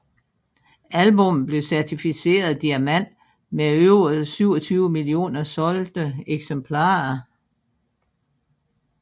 Albummet blev certificeret diamant med over 27 millioner solgte eksemplarer